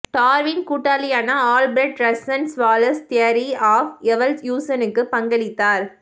Darwin கூட்டாளியான Alfred Russel Wallace theory of எவல்யூஷனுக்கு பங்களித்தார்